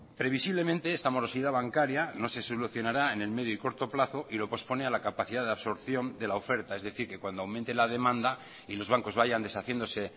previsiblemente esta morosidad bancaria no se solucionará en el medio y corto plazo y lo pospone a la capacidad de absorción de la oferta es decir que cuando aumente la demanda y los bancos vayan deshaciéndose